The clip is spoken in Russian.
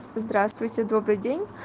здравствуйте добрый день